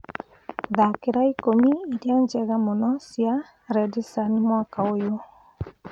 thaakĩra ikũmi iria njega mũno cia redsun mwaka ũyũ